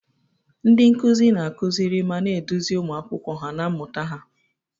Ndị nkuzi na-akụziri ma na-eduzi ụmụ akwụkwọ na mmụta ha.